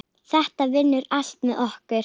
Þetta vinnur allt með okkur.